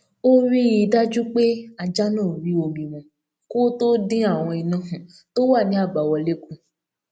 ó rí i dájú pé ajá náà rí omi mu kó tó dín àwọn iná tó wà ní àbáwọlé kù